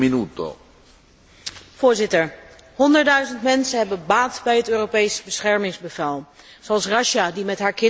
Voorzitter, honderdduizend mensen hebben baat bij het Europees beschermingsbevel, zoals Rasja, die met haar kinderen naar Spanje wil gaan.